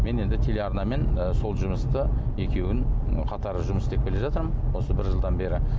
мен енді телеарнамен ы сол жұмысты екеуін қатар жұмыс істеп келе жатырмын осы бір жылдан бері